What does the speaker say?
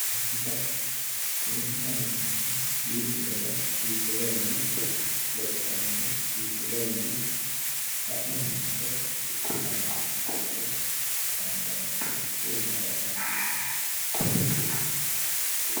Poletika poletikaho yineemmohu mitte daga hiikko garinni lophitannoro hiikko garinni sa'e hadhannoro hiikko garinni ikkitannoro hasaambanni garaati woyi massagote garaati